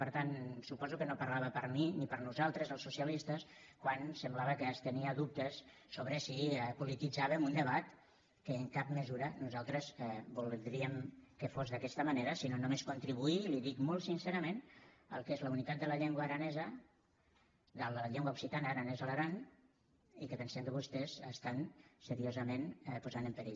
per tant suposo que no parlava per mi ni per nosaltres els socialistes quan semblava que estenia dubtes sobre si polititzàvem un debat que en cap mesura nosaltres voldríem que fos d’aquesta manera sinó només contribuir i li ho dic molt sincerament al que és la unitat de la llengua occitana aranès a l’aran i que pensem que vostès estan seriosament posant en perill